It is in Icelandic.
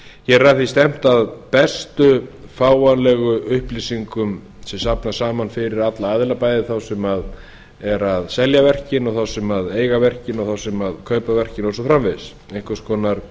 hér er að því stefnt að bestu fáanlegu upplýsingum sem safnast saman fyrir alla aðila bæði þá sem eru að selja verkin og þá sem eiga verkin og þá sem kaupa verkin og svo framvegis einhvers konar